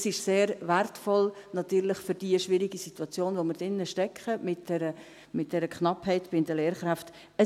Dies ist natürlich sehr wertvoll für die schwierige Situation, in der wir mit dieser Knappheit bei den Lehrkräften stecken.